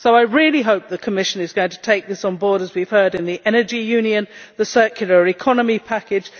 So I really hope the Commission is going to take this on board, as we have heard, in the energy union and the circular economy package.